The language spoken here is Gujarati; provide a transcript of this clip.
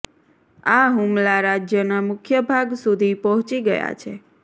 આ હુમલા રાજ્યના મુખ્ય ભાગ સુધી પહોંચી ગયા છે